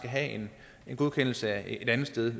have en godkendelse et andet sted